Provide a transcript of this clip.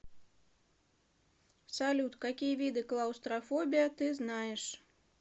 салют какие виды клаустрофобия ты знаешь